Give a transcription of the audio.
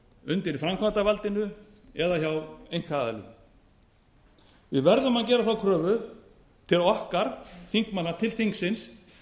undir framkvæmdarvaldinu eða hjá einkaaðilum við verðum að gera þá kröfu til okkar þingmanna til þingsins